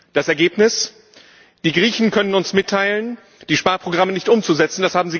Das Ergebnis Die Griechen können uns mitteilen, die Sparprogramme nicht umzusetzen